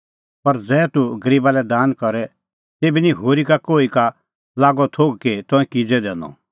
पर ज़ेभै तूह गरीबा लै दान करे तेभै निं होरी कोही लोगा का लागअ थोघ कि तंऐं किज़ै दैनअ